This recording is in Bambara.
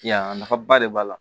Ya nafaba de b'a la